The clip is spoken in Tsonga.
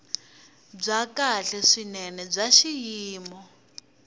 byo kahle swinene bya xiyimo